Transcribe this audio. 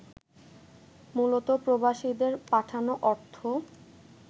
মুলত প্রবাসীদের পাঠানো অর্থ